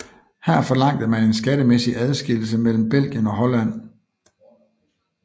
Her forlangte man en skattemæssig adskillelse mellem Belgien og Holland